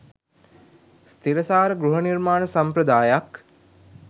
ස්ථිරසාර ගෘහ නිර්මාණ සම්ප්‍රදායක්